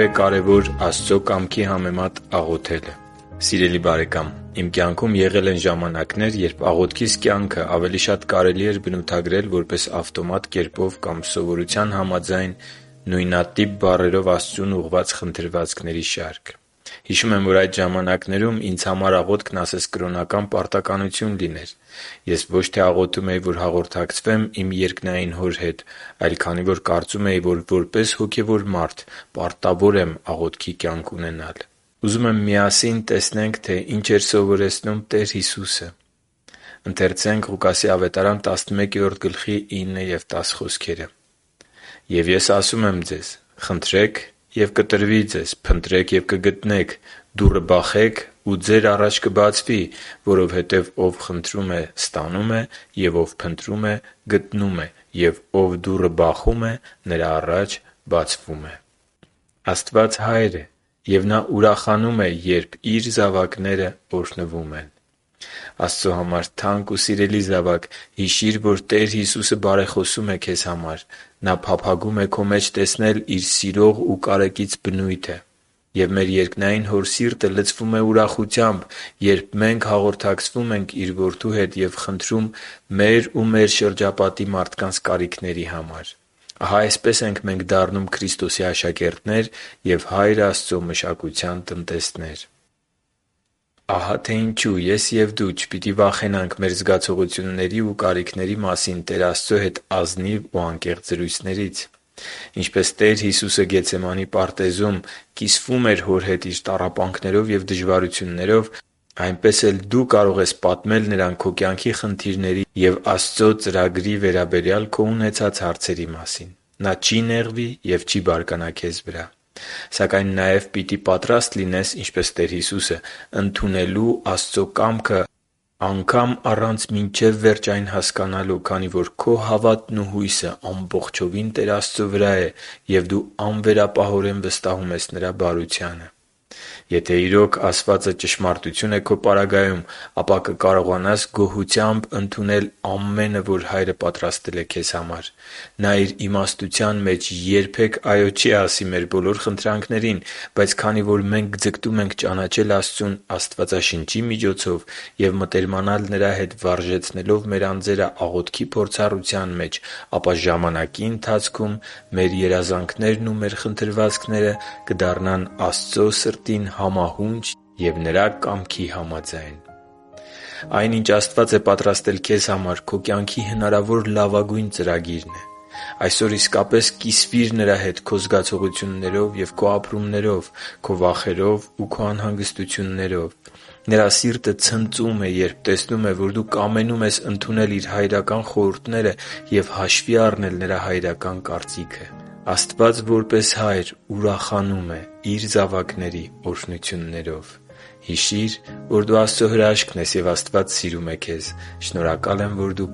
է կարևոր Աստծո կամքի համեմատ աղոթելը Սիրելի՛ բարեկամ, իմ կյանքում եղել են ժամանակներ, երբ աղոթքիս կյանքը ավելի շատ կարելի էր բնութագրել որպես ավտոմատ կերպով կամ սովորության համաձայն նույնատիպ բառերով Աստծուն ուղղված խնդրվածքների շարք։ Հիշում եմ, որ այդ ժամանակներում ինձ համար աղոթքն ասես կրոնական պարտականություն լիներ։ Ես ոչ թե աղոթում էի, որ հաղորդակցվեմ իմ երկնային Հոր հետ, այլ քանի որ կարծում էի, որ որպես հոգևոր մարդ պետք է աղոթքի կյանք ունենամ։ Ահա, թե ինչ էր սովորեցնում Տեր Հիսուսը․«Եվ Ես ասում եմ ձեզ. խնդրե՛ք, և կտրվի ձեզ, փնտրե՛ք և կգտնեք, դուռը բախե՛ք, ու ձեր առաջ կբացվի։ Որովհետև ով խնդրում է, ստանում է, և ով փնտրում է, գտնում է, և ով դուռը բախում է, նրա առաջ բացվում է» (Ղուկաս 11:9-10): Աստված Հայր է, ով ուրախանում է, երբ Իր զավակներն օրհնվում են։ Աստծո համար թանկ ու սիրելի՛ զավակ, հիշի՛ր, որ Տեր Հիսուսը բարեխոսում է քեզ համար։ Նա փափագում է քո մեջ տեսնել Իր սիրող ու կարեկից բնույթը։ Եվ մեր երկնային Հոր սիրտը լցվում է ուրախությամբ, երբ մենք հաղորդակցվում ենք Իր Որդու հետ և խնդրում մեր ու մեր շրջապատի մարդկանց կարիքների մասին։ Ահա այսպես ենք մենք դառնում Քրիստոսի աշակերտներ և Հայր Աստծո մշակության տնտեսներ։ Ահա թե ինչու ես և դու չպիտի վախենանք մեր զգացողությունների և կարիքների մասին Տեր Աստծո հետ ազնիվ ու անկեղծ զրույցներից։ Ինչպես Տեր Հիսուսը Գեթսեմանի պարտեզում կիսվում էր Հոր հետ Իր տառապանքներով և դժվարություններով, այնպես էլ դու կարող ես պատմել Նրան քո կյանքի խնդիրների և Աստծո ծրագրի հարցում քո ունեցած հարցերի մասին։ Նա չի նեղվի և չի բարկանա քեզ վրա։ Սակայն նաև պիտի պատրաստ լինես, ինչպես Տեր Հիսուսը, ընդունելու Աստծո կամքը անգամ առանց մինչև վերջ այն հասկանալու, քանի որ քո հավատն ու հույսը ամբողջովին Տեր Աստծո վրա է և դու անվերապահորեն վստահում ես Նրա բարությանը։ Եթե իրոք ասվածը ճշմարտություն է քո պարագայում, ապա կկարողանաս գոհությամբ ընդունել ամենը, որ Հայրը պատրաստել է քեզ համար։ Նա Իր իմաստության մեջ երբե՛ք «այո» չի ասի մեր բոլոր խնդրանքներին։ Բայց քանի որ մենք ձգտում ենք ճանաչել Աստծուն Աստվածաշնչի միջոցով և մտերմանալ Նրա հետ՝ վարժեցնելով մեր անձերը աղոթքի փորձառության մեջ, ապա ժամանակի ընթացքում մեր երազանքներն ու մեր խնդրվածքները կդառնան Աստծո սրտին համահունչ և Նրա կամքի համաձայն։ Այն, ինչ Աստված է պատրաստել քեզ համար, քո կյանքի հնարավոր լավագույն ծրագիրն է։ Այսօր իսկապես կիսվիր Նրա հետ քո զգացողություններով և քո ապրումներով, քո վախերով ու անհանգստություններով։ Նրա սիրտը ցնծում է, երբ տեսնում է, որ դու կամենում ես ընդունել Իր հայրական խորհուրդները և հաշվի առնել Նրա հայրական կարծիքը։ Աստված որպես Հայր ցնծում է Իր զավակների օրհնություններով։ Հիշի՛ր, որ դու Աստծո հրաշքն ես, և Աստված սիրում է քեզ։ Շնորհակալ եմ, որ դու